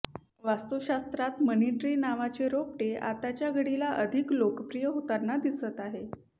वास्तुशास्त्रात money tree नावाचे रोपटे आताच्या घडीला अधिक लोकप्रिय होताना दिसत आहे